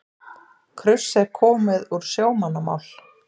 Kruss er komið úr sjómannamál.